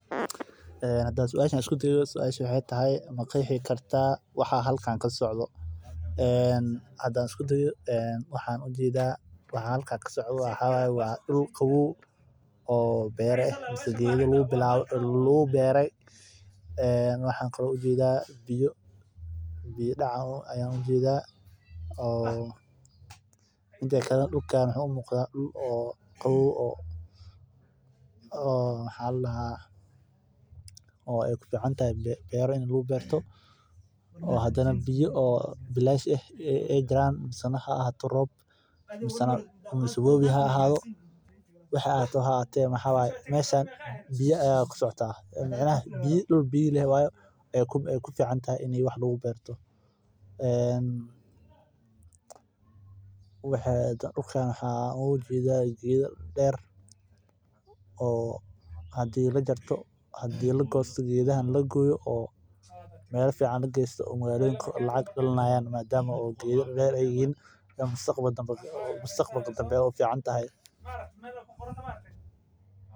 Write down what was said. Hadaan suasha isku dayo waxaa waye suasha ma qeexi kartaa waxa halkan kasocdo waxaan ujeeda dul beera ah ama geeda lagu abuure biya Ayaan sido kale ujeeda waa dul qaboow oo kufican in beera lagu abuurto dul biya leh waye sido kale waxaan ujeeda geeda deer oo hadii la goosto lacag laga helaayo mustaqbalka danbe ayeey u eg tahay.